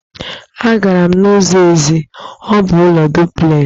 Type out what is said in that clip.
Agara m n'ụlọ eze, ọ bụ ụlọ duplexị